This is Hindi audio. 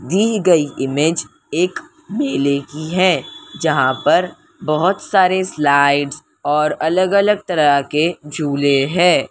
दी गई इमेज एक मेले की है जहां पर बहुत सारे स्लाइड्स और अलग-अलग तरह के झूले हैं।